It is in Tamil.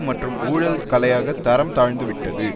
மற்றும் ஊழல் கலையாக தரம் தாழ்ந்து விட்டது